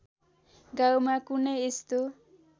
गाउँमा कुनै यस्तो